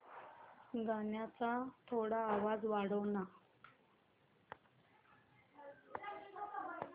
गाण्याचा थोडा आवाज वाढव ना